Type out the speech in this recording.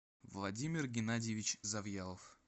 владимир геннадьевич завьялов